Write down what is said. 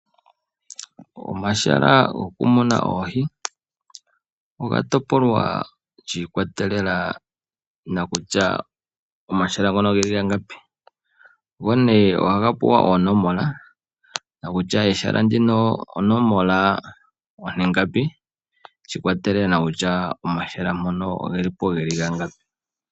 Omahala gokumuna oohi oga topolwa shiikwatelela nokutya omahala ngono ogeli gangapi. Go ohaga pewa oonomola nokutya ehala ndino onomola ongapi, shiikwatelela nokutya omahala ngono ogeli po gangapi.